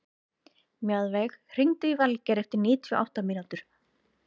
Mjaðveig, hringdu í Valgeir eftir níutíu og átta mínútur.